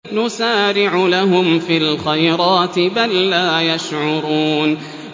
نُسَارِعُ لَهُمْ فِي الْخَيْرَاتِ ۚ بَل لَّا يَشْعُرُونَ